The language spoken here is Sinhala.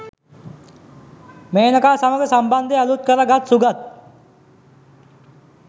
මේනකා සමඟ සම්බන්ධය අලුත් කර ගත් සුගත්